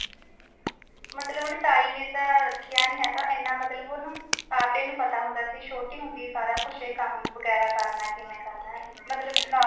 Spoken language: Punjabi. ਮਤਲਬ ਓਹਨੇ ਤਾਈ ਨੇ ਤਾ ਰਖਿਆ ਨਹੀਂ ਹੇਗਾ ਏਨਾ ਮਤਲਬ ਓਹਨੂੰ ਆਪੇ ਪਤਾ ਸੀ ਛੋਟੀ ਹੋਂਦੀ ਸਾਰਾ ਇਹ ਕੁਛ ਕਮ ਵਗੈਰਾ ਕਰਨਾ ਕਿਵੇਂ ਕਰਨਾ ਮਤਲਬ knowledge ਵੀ ਨਹੀਂ ਹੇਗੀ